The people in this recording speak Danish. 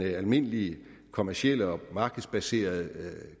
den almindelige kommercielle og markedsbaserede